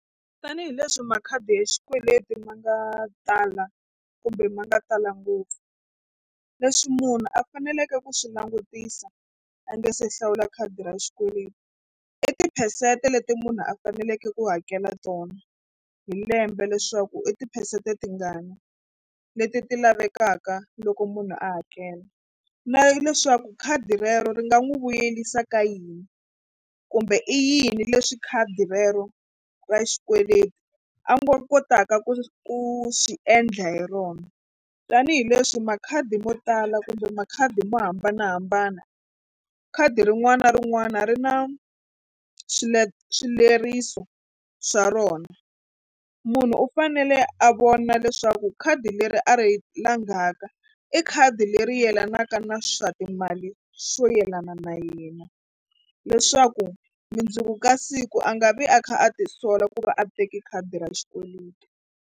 Tanihileswi makhadi ya xikweleti ma nga tala kumbe ma nga tala ngopfu leswi munhu a faneleke ku swi langutisa a nga se hlawula khadi ra xikweleti i tiphesente leti munhu a faneleke ku hakela tona hi lembe leswaku i tiphesente tingani leti ti lavekaka loko munhu a hakela na leswaku khadi rero ri nga n'wi vuyerisa ka yini kumbe i yini leswi khadi rero ra xikweleti a nga kotaka ku ku swi endla hi rona tanihileswi makhadi mo tala kumbe makhadi mo hambanahambana khadi rin'wana na rin'wana ri na swileriso swa rona. Munhu u fanele a vona leswaku khadi leri a ri langaka i khadi leri yelanaka na swa timali swo yelana na yena leswaku mundzuku ka siku a nga vi a kha a tisola ku va a teke khadi ra xikweleti.